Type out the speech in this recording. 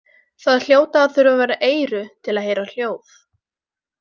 Það hljóta að þurfa vera eyru til að heyra hljóð.